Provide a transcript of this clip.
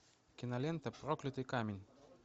кинолента проклятый камень